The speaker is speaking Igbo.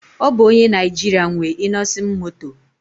Ọ bụ onye Naijiria nwe Innoson Moto